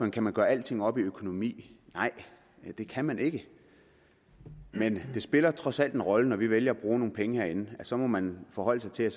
kan man gøre alting op i økonomi nej det kan man ikke men det spiller trods alt en rolle når vi vælger at bruge nogle penge herinde så må man forholde sig til at